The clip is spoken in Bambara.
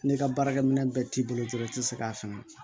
N'i ka baarakɛminɛ bɛɛ t'i bolo dɔrɔn i tɛ se k'a faamu